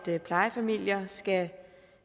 plejefamilier skal